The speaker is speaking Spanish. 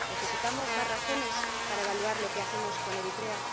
¿Necesitamos más razones para evaluar lo que hacemos con Eritrea?